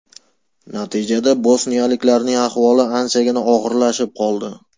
Natijada bosniyaliklarning ahvoli anchagina og‘irlashib qoldi.